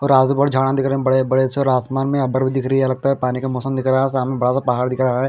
और आजुबाजु झाड़ा दिख रहे है बड़े बड़े आसमान में बादल भी दिख रहा है लगता है पानी का मौसम दिख रहा है सामने बडासा पहाड़ दिख रहा है।